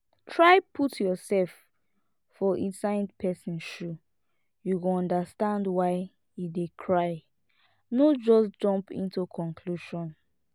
try put yourself for inside person shoe you go understand why e dey cry no just jump into conclusion